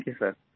thank you सिर